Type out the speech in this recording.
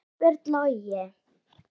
Ásbjörn Logi.